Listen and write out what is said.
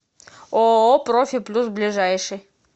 ооо профи плюс ближайший